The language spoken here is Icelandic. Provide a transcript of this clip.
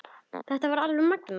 Það er alveg magnað.